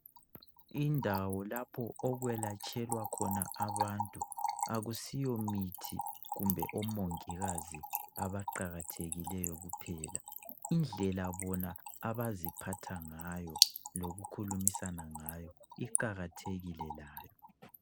Indawo lapho okwelatshelwa khona abantu akuyisiyo mithi kumbe omongikazi abaqakathekileyo kuphela Indlela bona abaziphatha ngayo lokukhulumisana ngayo iqalathekile layo